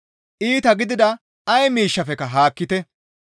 Iita gidida ay miishshafekka haakkite.